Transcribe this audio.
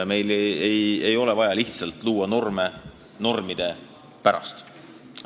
Meil ei ole vaja luua norme lihtsalt normide pärast.